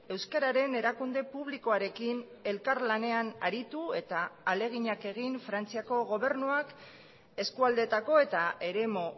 euskararen erakunde publikoarekin elkarlanean aritu eta ahaleginak egin frantziako gobernuak eskualdeetako eta eremu